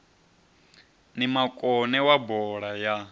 ni makone wa bola ya